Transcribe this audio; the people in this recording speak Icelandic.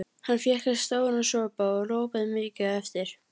Hann fékk sér stóran sopa og ropaði mikið á eftir.